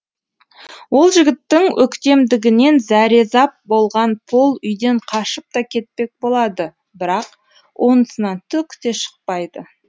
ол жігіттің өктемдігінен зәрезап болған пол үйден қашып та кетпек болады бірақ онысынан түк те шықпайды